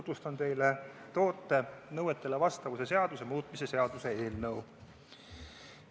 Tutvustan teile toote nõuetele vastavuse seaduse muutmise seaduse eelnõu.